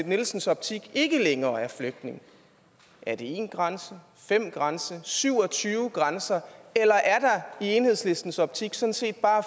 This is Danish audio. nielsens optik ikke længere er flygtning er det en grænse fem grænser syv og tyve grænser eller er der i enhedslistens optik sådan set bare